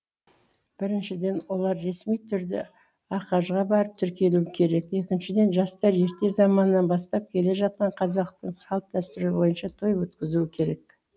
біріншіден олар ресми түрде ахаж ға барып тіркелуі керек екіншіден жастар ерте заманнан бастап келе жатқан қазақтың салт дәстүрі бойынша той өткізуі керек